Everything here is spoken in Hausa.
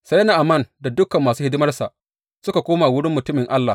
Sai Na’aman da dukan masu hidimarsa suka koma wurin mutumin Allah.